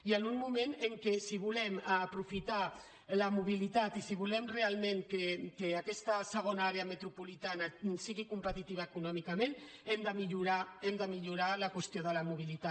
i en un moment en què si volem aprofitar la mobilitat i si volem realment que aquesta segona àrea metropolitana sigui competitiva econòmicament hem de millorar hem de millorar la qüestió de la mobilitat